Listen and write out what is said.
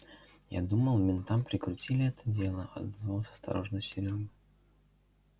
я думал ментам прикрутили это дело отозвался осторожно серёга